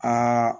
Kaa